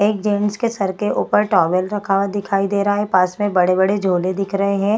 एक जेन्ट्स के सर के ऊपर टॉवेल रखा हुआ दिखाई दे रहा है। पास में बड़े बड़े झोले दिख रहे हैं।